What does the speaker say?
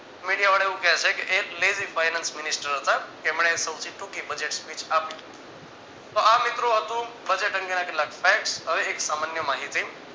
મીડિયો વાળા એવું કહેશે કે એ lezi finance minister હતા. એમને સૌથી ટૂંકી budget speech આપી. તો આ મિત્રો હતું budget અંગે ના કેટલાક facts હવે એક સામાન્ય માહિતી